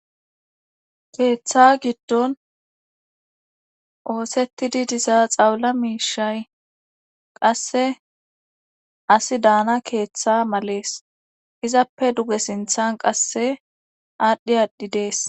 keeththa giddon oosettidi diza xawula miishay qasse asi daana keeththa malees izappe duge sinthan qasse aadhdhi aadhi dees